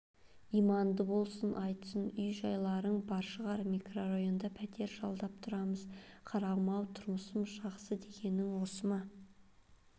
иманды болсын айтсын үй-жайларың бар шығар микрорайонда пәтер жалдап тұрамыз қарағым-ау тұрмысым жақсы дегенің осы ма